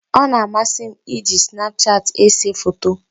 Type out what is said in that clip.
Ọ na-amasị m iji snapchat ese foto.